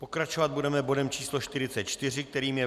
Pokračovat budeme bodem číslo 44, kterým je